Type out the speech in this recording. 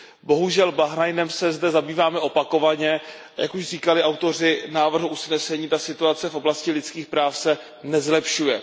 Bohužel Bahrajnem se zde zabýváme opakovaně, jak už říkali autoři návrhu usnesení, ta situace v oblasti lidských práv se nezlepšuje.